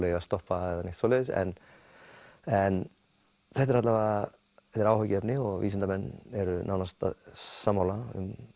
eigi að stoppa eða neitt svoleiðis en en þetta er alla vega áhyggjuefni og vísindamenn eru nánast sammála um